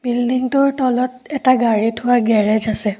বিল্ডিংটোৰ তলত এটা গাড়ী থোৱা গেৰেজ আছে।